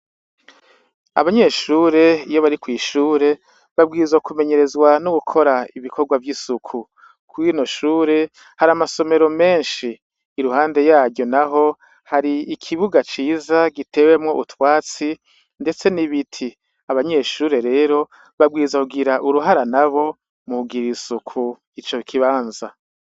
Abanyeshure iyo bari kw'ishure babwirizwa kumenyerezwa nogukora ibikorwa vy'isuku, kuri rino shure har 'amasomero menshi , iruhande yaryo naho hari ikibuga ciza giteyemwo utwatsi, ndetse n'ibiti, abanyeshure rero babwirizwa kugira uruhara nabo kugirir'isuku ico kibanza.